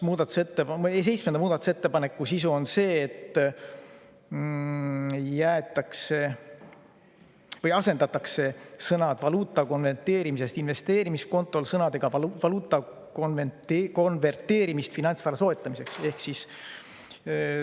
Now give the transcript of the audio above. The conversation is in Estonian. Seitsmenda muudatusettepaneku sisu on see, et asendatakse sõnad "valuuta konverteerimist investeerimiskontol" sõnadega "valuuta konverteerimist finantsvara soetamiseks".